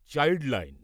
child line